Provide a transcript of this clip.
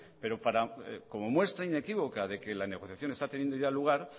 pero como muestra inequívoca de que la negociación está teniendo ya lugar